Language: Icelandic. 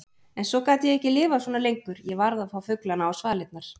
En svo gat ég ekki lifað svona lengur, ég varð að fá fuglana á svalirnar.